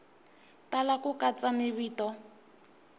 tala ku katsa ni vito